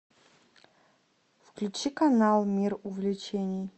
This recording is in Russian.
включи канал мир увлечений